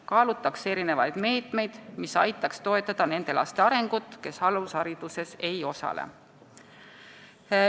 Kaalutakse erinevaid meetmeid, mis toetaksid nende laste arengut, kes alushariduses ei osale.